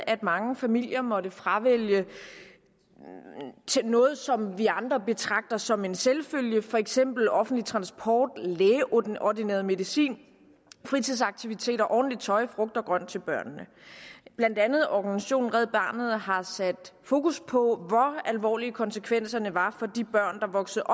at mange familier måttet fravælge noget som vi andre betragter som en selvfølge for eksempel offentlig transport lægeordineret medicin fritidsaktiviteter ordentligt tøj og frugt og grønt til børnene blandt andet organisationen red barnet har sat fokus på hvor alvorlige konsekvenserne var for de børn der voksede